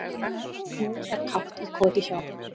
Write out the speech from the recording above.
Nú er kátt í koti hjá